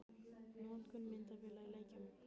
Notkun myndavéla í leikjum?